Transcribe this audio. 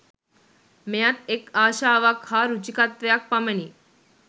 මෙයත් එක් ආශාවක් හා රුචිකාත්වයක් පමණි.